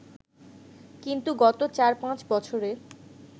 কিন্তু গত চার-পাঁচ বছরে